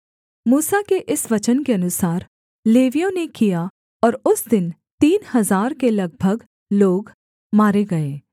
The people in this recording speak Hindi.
मूसा के इस वचन के अनुसार लेवियों ने किया और उस दिन तीन हजार के लगभग लोग मारे गए